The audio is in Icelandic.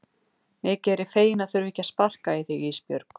Mikið er ég feginn að þurfa ekki að sparka í þig Ísbjörg.